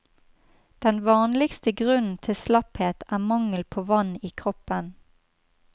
Den vanligste grunnen til slapphet er mangel på vann i kroppen.